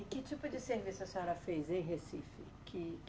E que tipo de serviço a senhora fez em Recife? Que